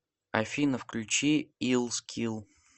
афина включи ил скил